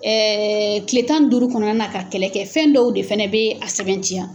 Ɛɛ tile tan ni duuru kɔnɔna na ka kɛlɛ kɛ fɛn dɔw de fana bɛ a sɛbɛntiya